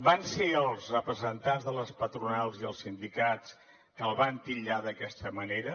van ser els representants de les patronals i els sindicats que el van titllar d’aquesta manera